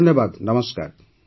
ବହୁତ ବହୁତ ଧନ୍ୟବାଦ